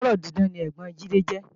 Ọlọ́rọ̀ dídán ni ẹ́gbọ́n Jide jẹ́